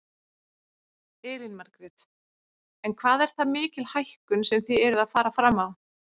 Elín Margrét: En hvað er það mikil hækkun sem þið eruð að fara fram á?